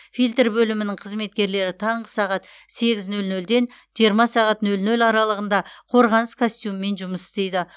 фильтр бөлімінің қызметкерлері таңғы сағат сегіз нөл нөлден жиырма нөл нөл аралығында қорғаныс костюмімен жұмыс істейді